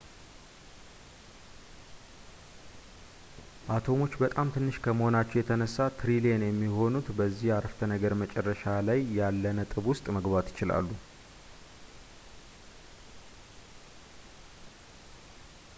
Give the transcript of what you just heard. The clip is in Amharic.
አቶሞች በጣም ትንሽ ከመሆናቸው የተነሳ ትሪሊየን የሚሆኑት በዚህ አረፍተነገር መጨረሻ ላይ ያለ ነጥብ ውስጥ መግባት ይችላሉ